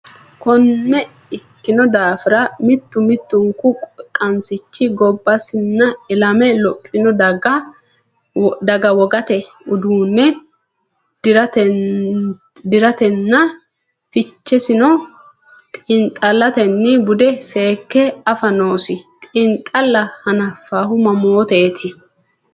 Konne ikkino daafira, mittu mittunku qansichi gobbasinna ilame lophino daga wogate uduunne di’ratenninna fichesino xiinxallatenni bude seekke afa noosi, xiinxalla hanafinohu mamooteeti?